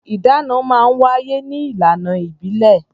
Ìdáná máa ń wáyé ní ìlànà ìbílẹ̀.